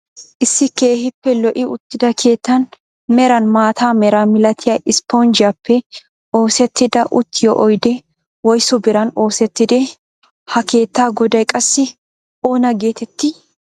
Issi keehippe lo"i uttida keettan meran maata meraa milatiyaa issponjjiyaappe oosettida uttiyo oydee woysu biran oosettidee? Ha keettaa goday qassi oona getettii?